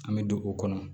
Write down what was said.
An bɛ don o kɔnɔ